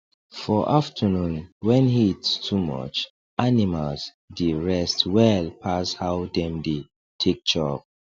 for afternoon wen heat too much animals dey rest well pas how dem dey take chop